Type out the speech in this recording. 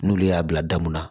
N'olu y'a bila da mun na